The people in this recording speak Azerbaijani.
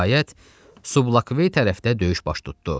Nəhayət, Sublakvey tərəfdə döyüş baş tutdu.